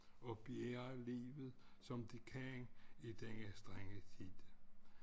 Og bjærger livet som dekan i denne strenge tid